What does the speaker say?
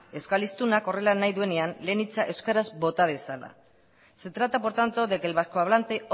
euskal hiztunak horrela nahi duenean lehen hitza euskaraz bota dezala se trata por tanto de que el vasco hablante